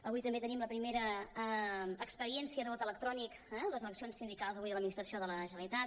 avui també tenim la primera experiència de vot electrònic les eleccions sindicals avui de l’administració de la generalitat